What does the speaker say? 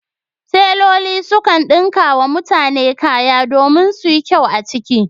Teloli sukan ɗinka wa mutane kaya domin su yi kyau a ciki